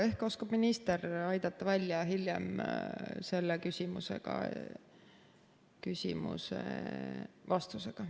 Ehk oskab minister aidata hiljem selle küsimuse vastusega.